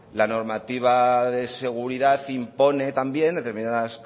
la normativa de seguridad impone también determinadas